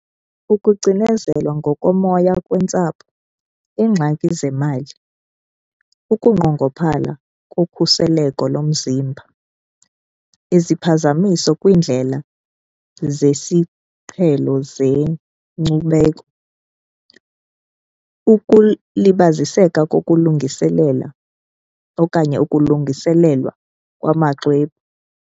Ukucinezelwa ngokomoya kwentsapho, iingxaki zemali. Ukunqongophala kokhuseleko lomzimba, iziphazamiso kwindlela zesiqhelo zeenkcubeko, ukulibaziseka kokulungiselela okanye okulungiselelwa kwamaxwebhu.